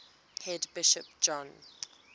head bishop john